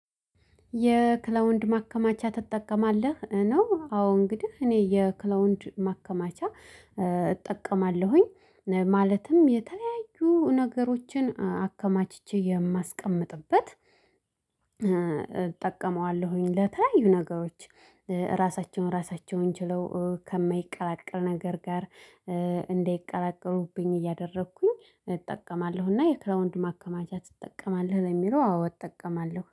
የክላውድ ማከማቻ ትጠቀማለህ? ነው አዎ እንግዲህ እኔ የክላውድ ማከማቻ እጠቀማለሁኝ እ ማለትም የተለያዩ ነገሮችን አከማችቼ የማስቀምጥበት እጠቀመዋለሁኝ ለተለያዩ ነገሮች እ ራሳቸውን ራሳቸውን ችለው እ ከማይቀላቀል ነገር ጋር እ እንዳይቀላቀሉብኝ እያደረግኩኝ እጠቀማለሁና የክላውድ ማከማቻ ትጠቀማለህ ለሚለው አዎ እጠቀማለሁ